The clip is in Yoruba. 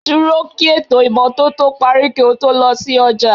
Dúró kí ètò ìmọ́tótó parí kí o tó lọ sí ọjà